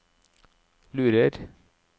lurer